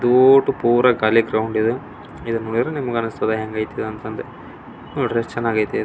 ದೊಡ್ಡ್ ಪೂರಾ ಕಾಳಿ ಗ್ರೌಂಡ್ ಇದೆ ಇದ್ನ ನೊಡ್ರಿದೆ ನಿಮಗೆ ಅನ್ಸತೇತಿ ಹೆಂಗೈತೆ ಅಂತ ಅಂದ ನೋಡ್ರಿ ಎಷ್ಟು ಚಂದ್ ಐತೆ --